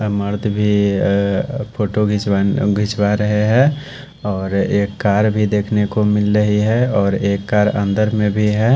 और मर्द भी अ फोटो खींचव खींचवा रहे हैं और एक कार भी देखने को मिल रही है और एक कार अंदर में भी है।